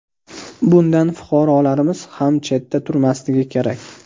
Bundan fuqarolarimiz ham chetda turmasligi kerak.